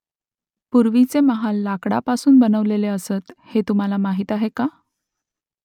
पूर्वीचे महाल लाकडापासून बनवलेले असत हे तुम्हाला माहीत आहे का ?